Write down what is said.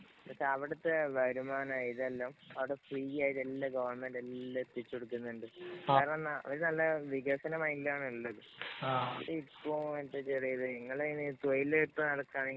പക്ഷേ അവിടത്തെ വരുമാനാ ഇതെല്ലാം അവിടെ ഫ്രീ ആയിട്ടു എല്ലാം ഗവണ്മെന്‍റ് എല്ലാം എത്തിച്ചു കൊടുക്കുന്നുണ്ട്. കാരണം അവര് നല്ല വികസന മൈന്‍ഡിലാണുള്ളത്.. ഇപ്പൊ എന്താ ചെയ്തേക്കണേ നിങ്ങള് ഇങ്ങനെ തൊഴില് കിട്ടാതെ നടക്കുവാനെ